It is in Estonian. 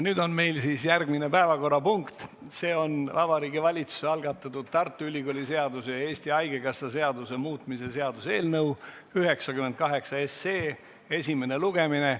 Nüüd järgmine päevakorrapunkt, see on Vabariigi Valitsuse algatatud Tartu Ülikooli seaduse ja Eesti Haigekassa seaduse muutmise seaduse eelnõu 98 esimene lugemine.